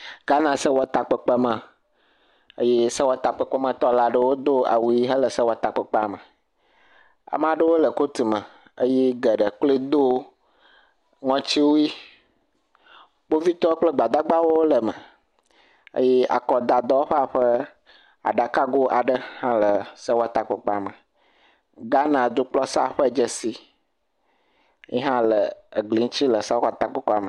Ghanasewɔtakpekpeame eye sewɔtakpekpe metɔwo do awu ʋe hele sewɔtakpekpea me, ame aɖewo le kotu me eye geɖee kloe do ŋɔti wui, kpovitɔ kple gbadagbawo le eme eye akɔdadɔwɔƒea ƒe aɖakago aɖe hã le sewɔtakpekpea me. Ghanadukplɔ sea ƒe dzesi yi hɔ la egli ŋuti le sewɔtakpexɔa me.